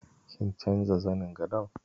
Kin canza zanin gadon?